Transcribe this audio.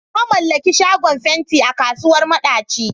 Na mallaki shagon fenti a kasuwar madaci.